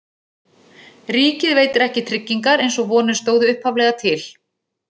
Ríkið veitir ekki tryggingar eins og vonir stóðu upphaflega til.